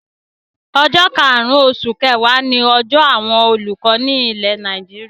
Ọjọ́ karùn-ún oṣù kẹwàá ni ọjọ́ àwọn olùkọ́ ilẹ̀ Nàìjíríà.